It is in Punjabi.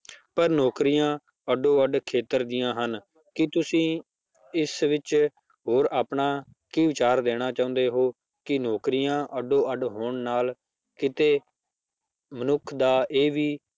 ਪਰ ਨੌਕਰੀਆ ਅੱਡੋ ਅੱਡ ਖੇਤਰ ਦੀਆਂ ਹਨ, ਕੀ ਤੁਸੀਂ ਇਸ ਵਿੱਚ ਹੋਰ ਆਪਣਾ ਕੀ ਵਿਚਾਰ ਦੇਣਾ ਚਾਹੁੰਦੇ ਹੋ ਕਿ ਨੌਕਰੀਆਂ ਅੱਡੋ ਅੱਡ ਹੋਣ ਨਾਲ ਕਿਤੇ ਮਨੁੱਖ ਦਾ ਇਹ ਵੀ